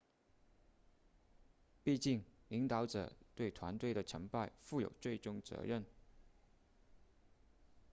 毕竟领导者对团队的成败负有最终责任